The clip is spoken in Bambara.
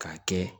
K'a kɛ